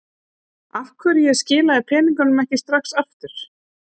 Af hverju ég skilaði peningunum ekki strax aftur.